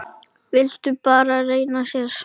Vildi bara renna sér.